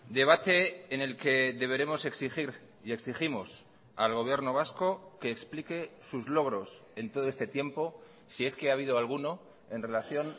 debate en el que deberemos exigir y exigimos al gobierno vasco que explique sus logros en todo este tiempo si es que ha habido alguno en relación